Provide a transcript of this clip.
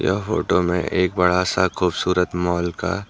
यह फोटो में एक बड़ा सा खूबसूरत मॉल का--